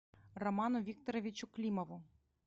роману викторовичу климову